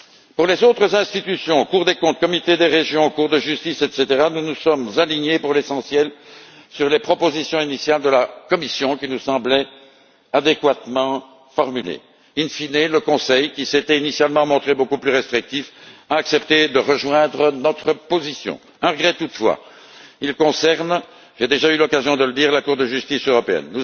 Pour les autres institutions, Cour des comptes, Comité des régions, Cour de justice etc., nous nous sommes alignés pour l'essentiel sur les propositions initiales de la Commission, qui nous semblaient adéquatement formulées. In fine le Conseil, qui s'était initialement montré beaucoup plus restrictif, a accepté de rejoindre notre position. Un regret, toutefois, qui concerne j'ai déjà eu l'occasion de le dire la Cour de justice européenne.